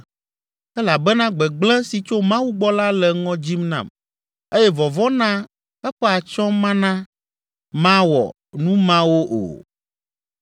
Elabena gbegblẽ si tso Mawu gbɔ la le ŋɔ dzim nam, eye vɔvɔ̃ na eƒe atsyɔ̃ mana mawɔ nu mawo o.